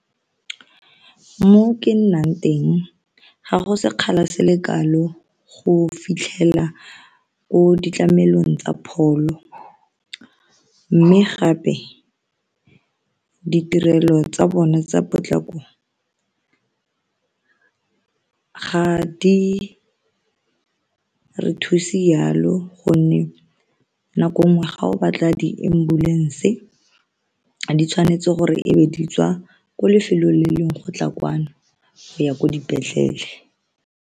Mo ke nnang teng ga go sekgala se le kalo go fitlhela ko ditlhamelong tsa pholo mme gape ditirelo tsa bone tsa potlako ga di re thuse yalo gonne nako nngwe ga o batla di-ambulance di tshwanetse gore e be di tswa ko lefelong le lengwe go tla kwano go ya ko dipetlele.